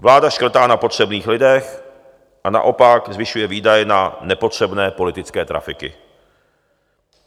Vláda škrtá na potřebných lidech a naopak zvyšuje výdaje na nepotřebné politické trafiky.